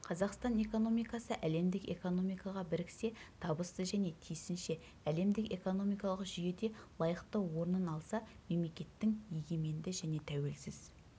қазақстан экономикасы әлемдік экономикаға біріксе табысты және тиісінше әлемдік экономикалық жүйеде лайықты орнын алса мемлекеттің егеменді және тәуелсіз